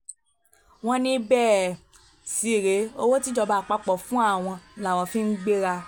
wọ́n ní bẹ́ẹ̀ um sì rèé owó tíjọba àpapọ̀ ń fún àwọn làwọn um fi ń gbéra